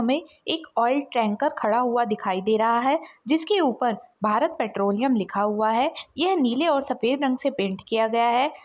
हमें एक oil tanker खड़ा हुआ दिखाई दे रहा हैं जिसके ऊपर भारत पेट्रोलियम लिखा हुआ हैं यह नीले और सफ़ेद रंग से पेंट किया गया हैं।